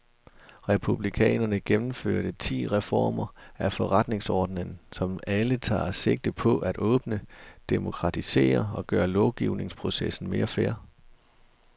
Republikanerne gennemførte ti reformer af forretningsordenen, som alle tager sigte på at åbne, demokratisere og gøre lovgivningsprocessen mere fair.